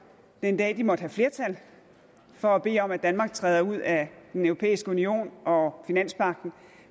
den dag de måtte have flertal for at bede om at danmark træder ud af den europæiske union og finanspagten